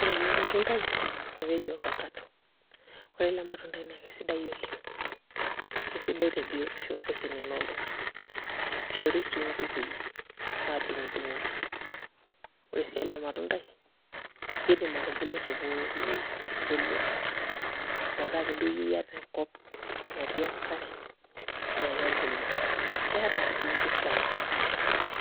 Ore ele matundai naa keji ovacodo ore ele matundai naa kesidai oleng' kesidai te biotisho ooseseni loltung'anak ishori sii nkukui adung'udung'oki ore sii ele matundai kiidim atubulu te pooki weui ebulu metaa ake duo iyie iata enkop natii enkare naa kebulu keeta sii mpisai